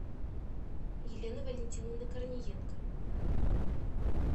елены валентиновны корниенко